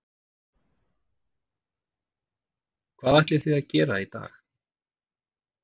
Hvað ætlið þið að gera í dag?